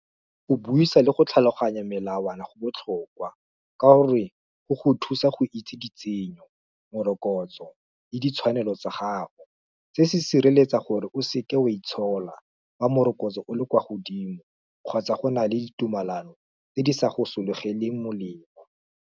Go buisa le go tlhaloganya melawana go botlhokwa, ka gore, go go thusa go itse ditsenyo, morokotso, le ditshwanelo tsa gago, se se sireletsa gore o seke wa itshola, fa morokotso o le kwa godimo, kgotsa go na le ditumalano tse di sa go sologeleng molemo.